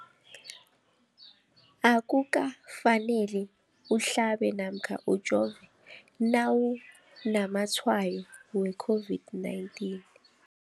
Akuka faneli uhlabe namkha ujove nawu namatshayo we-COVID-19.